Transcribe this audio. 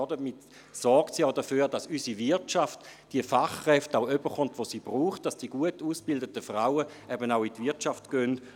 Damit sorgen sie auch dafür, dass unsere Wirtschaft die Fachkräfte bekommt, die sie braucht, und dass die gut ausgebildeten Frauen auch in die Wirtschaft gehen.